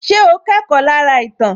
Ṣé o kẹ́kọ̀ọ́ lára ìtàn